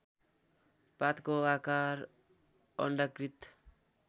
पातको आकार अण्डाकृत